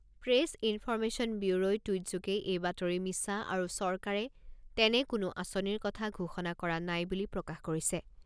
Press information ব্যুৰোই টুইটযোগে এই বাতৰি মিছা আৰু চৰকাৰে তেনে কোনো আঁচনিৰ কথা ঘোষণা কৰা নাই বুলি প্ৰকাশ কৰিছে।